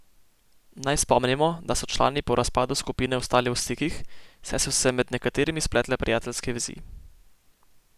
Naj spomnimo, da so člani po razpadu skupine ostali v stikih, saj so se med nekaterimi spletle prijateljske vezi.